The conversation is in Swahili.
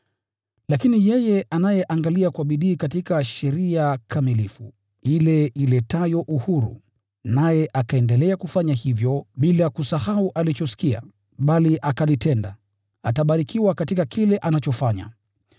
Lakini yeye anayeangalia kwa bidii katika sheria kamilifu, ile iletayo uhuru, naye akaendelea kufanya hivyo bila kusahau alichosikia, bali akalitenda, atabarikiwa katika kile anachofanya.